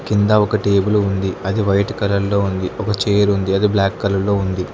కింద ఒక టేబుల్ ఉంది అది వైట్ కలర్ లో ఉంది ఒక చైర్ ఉంది అది బ్లాక్ కలర్ లో ఉంది.